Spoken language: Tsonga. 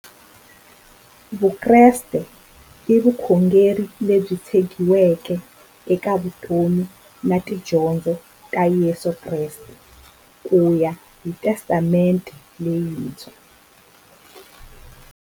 Vukreste i vukhongeri lebyi tshegiweke eka vutomi na tidyondzo ta Yesu Kreste kuya hi Testamente leyintshwa.